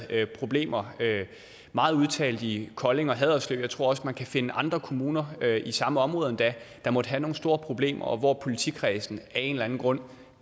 problemer meget udtalt i kolding og haderslev og jeg tror også man kan finde andre kommuner i samme område endda der måtte have nogle store problemer og hvor politikredsen af en eller anden grund